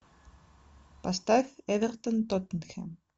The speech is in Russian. поставь эвертон тоттенхэм